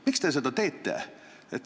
Miks te seda teete?